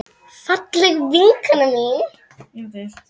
Fallega vinkona mín.